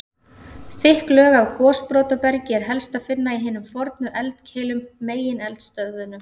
Þykk lög af gosbrotabergi er helst að finna í hinum fornu eldkeilum, megineldstöðvunum.